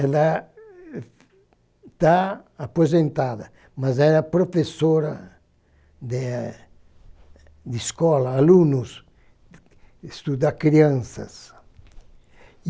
Ela está aposentada, mas era professora de de escola, aluno, estudar crianças.